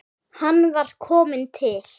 Hann var kominn til